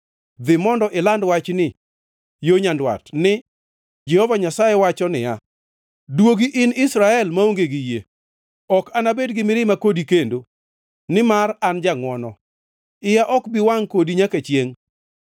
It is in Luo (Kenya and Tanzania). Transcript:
Dhi mondo iland wachni yo nyandwat ni: “Jehova Nyasaye wacho niya, ‘Duogi in Israel maonge gi yie, ok anabed gi mirima kodi kendo, nimar an jangʼwono, iya ok bi wangʼ kodi nyaka chiengʼ.